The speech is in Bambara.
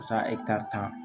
tan